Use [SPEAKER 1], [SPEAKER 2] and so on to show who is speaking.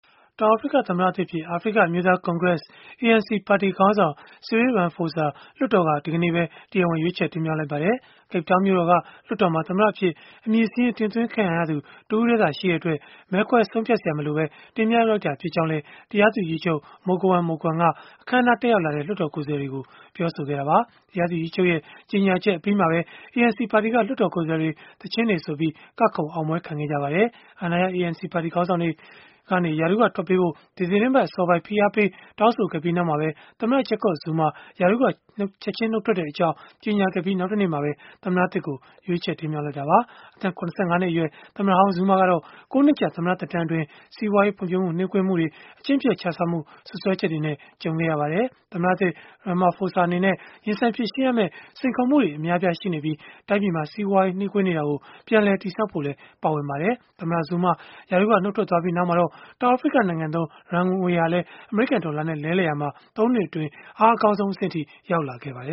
[SPEAKER 1] တောင်အာဖရိက သမ္မတသစ်အဖြစ် အာဖရိက အမျိုးသားကွန်ဂရက် (ANC) ပါတီခေါင်းဆောင် Cyril Ramaphosa ကို လွှတ်တော်က ဒီကနေ့ပဲ တရားဝင် ရွေးချယ်တင်မြှောက် လိုက်ပါတယ်။ Cape Town မြို့တော်က လွှတ်တော်မှာ သမ္မတအဖြစ် အမည်စာရင်း တင်သွင်းခံရသူ တဦးတည်းသာ ရှိတဲ့အတွက် မဲခွဲဆုံးဖြတ်စရာ မလိုဘဲ တင်မြှောက်လိုက်တာ ဖြစ်ကြောင်းလည်း တရားသူကြီးချုပ် Mogoeng Mogoeng က အခန်းအနားကို တက်ရောက်လာတဲ့ လွှတ်တော် ကိုယ်စားလှယ်တွေကို ပြောဆိုခဲ့တာပါ။ တရားသူကြီးချုပ်ရဲ့ ကြေညာချက်အပြီးမှာပဲ ANC ပါတီက လွှတ်တော်ကိုယ်စားလှယ်တွေ သီချင်းတွေဆိုပြီး ကခုန်အောင်ပွဲခံခဲ့ကြပါတယ်။ အာဏာရ ANC ပါတီ ခေါင်းဆောင်တွေက ရာထူးကထွက်ပေးဖို့ ဒီသီတင်းပတ်အစောပိုင်း ဖိအားပေး တောင်းဆိုခဲ့ပြီးနောက်မှာပဲ သမ္မတ Jacob Zuma ရာထူးက ချက်ခြင်း နှုတ်ထွက်ကြောင်း ကြေညာခဲ့ပြီး နောက်တနေ့မှာပဲ သမ္မတသစ်ကို ရွေးချယ်ခဲ့ကြတာပါ။ အသက် ၇၅ နှစ် အရွယ် သမ္မတဟောင်း Zuma ကတော့ ၉ နှစ်ကြာ သမ္မတ သက်တမ်းအတွင်း စီးပွာေးရး ဖွံ့ဖြိုးမှုနှေးကွေးမှုတွေ၊ အကျင့်ပျက်ခြစားမှု စွပ်စွဲချက်တွေနဲ့ ကြုံခဲ့ရပါတယ်။ သမ္မတသစ် Ramaphosa အနေနဲ့ ရင်ဆိုင်ဖြေရှင်းရမယ့် စိန်ခေါ်မှုတွေ အများအပြားရှိနေပြီး၊ တိုင်းပြည်မှာ စီးပွားရေး နှေးကွေးနေတာကို ပြန်လည် တည်ဆောက်ဖို့လည်း ပါဝင်ပါတယ်။ သမ္မတ Zuma ရာထူးက နှုတ်ထွက်သွားပြီး နောက်မှာပဲ တောင်အာဖရိကနိုင်ငံသုံး Rand ငွေဟာလည်း အမေရိကန်ဒေါ်လာနဲ့ လဲလှယ်ရာမှာ ၃ နှစ်အတွင်း အားအကောင်းဆုံး အဆင့်အထိ
[SPEAKER 2] ရောက်ခဲ့တာပါ